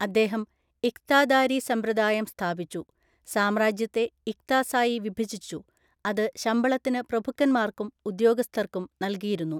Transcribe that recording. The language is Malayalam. അദ്ദേഹം ഇഖ്താദാരി സമ്പ്രദായം സ്ഥാപിച്ചു. സാമ്രാജ്യത്തെ ഇഖ്താസായി വിഭജിച്ചു, അത് ശമ്പളത്തിന് പ്രഭുക്കന്മാർക്കും ഉദ്യോഗസ്ഥർക്കും നൽകിയിരുന്നു.